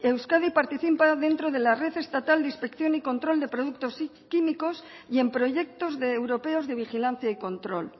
euskadi participa dentro de la red estatal de inspección y control de productos químicos y en proyectos de europeos de vigilancia y control